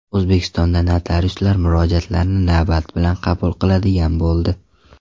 O‘zbekistonda notariuslar murojaatlarni navbat bilan qabul qiladigan bo‘ldi.